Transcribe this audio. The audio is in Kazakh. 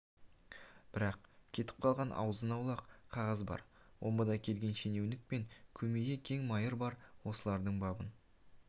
бірақ кетіп қалған азын-аулақ қағаз бар омбыдан келген шенеунік пен көмейі кең майыр бар осылардың бабын